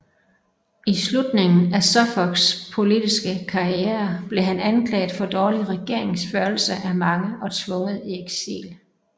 I slutningen af Suffolks politiske karriere blev han anklaget for dårlig regeringsførelse af mange og tvunget i eksil